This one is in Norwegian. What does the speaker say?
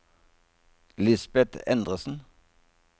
Lisbeth Endresen